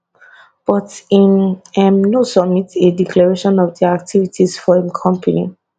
but im um no submit a declaration of di activities of im company